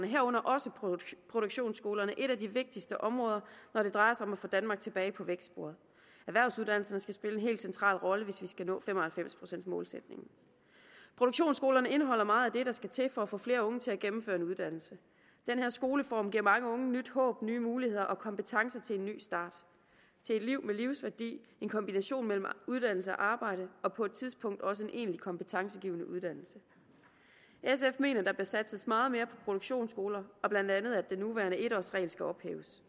herunder også produktionsskolerne et af de vigtigste områder når det drejer sig om at få danmark tilbage på vækstsporet erhvervsuddannelserne skal spille en helt central rolle hvis vi skal nå fem og halvfems procent målsætningen produktionsskolerne indeholder meget af det der skal til for at få flere unge til at gennemføre en uddannelse den her skoleform giver mange unge nyt håb nye muligheder og kompetencer til en ny start til et liv med livsværdi en kombination mellem uddannelse og arbejde og på et tidspunkt også en egentlig kompetencegivende uddannelse sf mener at der bør satses meget mere på produktionsskoler og blandt andet på at den nuværende en års regel skal ophæves